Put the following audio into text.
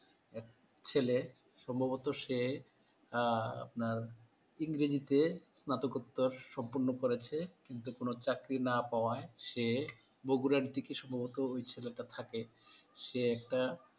ছেলে সম্ভত সে আ আপনার ইংরেজিতে স্নাতকোত্তর সম্পূর্ণ করেছে কিন্তু কোনো চাকরি না পাওয়ায় সে বগুড়ার দিকে সম্ভবত ওই ছেলেটা থাকে। সে একটা